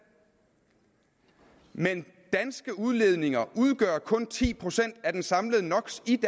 men danske udledninger udgør kun ti procent af den samlede no